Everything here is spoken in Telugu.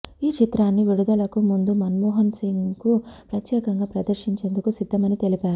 ఈ చిత్రాన్ని విడుదలకు ముందు మన్మోహన్ సింగ్కు ప్రత్యేకంగా ప్రదర్శించేందుకు సిద్ధమని తెలిపారు